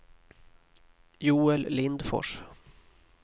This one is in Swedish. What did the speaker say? Joel Lindfors